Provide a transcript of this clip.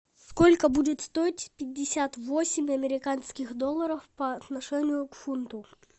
сколько будет стоить пятьдесят восемь американских долларов по отношению к фунту